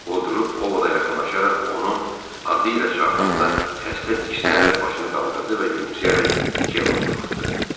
O durub Ovoda yaxınlaşaraq onu adı ilə çağıranda xəstə diksinərək başını qaldırdı və gülümsəyərək Cəmmaya baxdı.